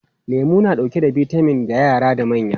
Lemu na dauke da bitamin ga yara da manya.